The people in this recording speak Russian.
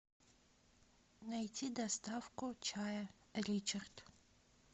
найти доставку чая ричард